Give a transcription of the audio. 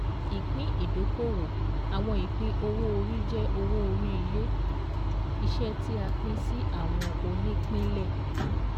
ÌPÍN ÌDÓKÒWÒ Àwọn ìpín owó orí jẹ́ owó orí ilé-iṣẹ́ tí a pín sí àwọn onípínlẹ̀